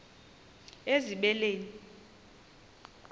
ezibeleni